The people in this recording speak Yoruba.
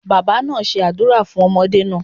Baba naa se àdúrà fun ọmọdé naa